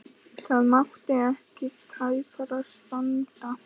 Það mátti ekki tæpara standa.